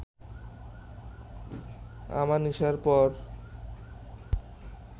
আমানিশার পর